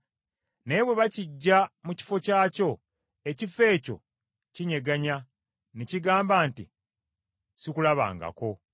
Naye bwe bakiggya mu kifo kyakyo, ekifo ekyo kikyegaana ne kigamba nti, Sikulabangako.